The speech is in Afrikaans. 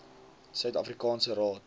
suid afrikaanse raad